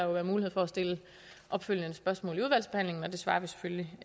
være mulighed for at stille opfølgende spørgsmål i udvalgsbehandlingen og det svarer vi selvfølgelig